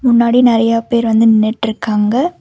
முன்னாடி நெறையா பேர் வந்து நின்னுட்ருக்காங்க.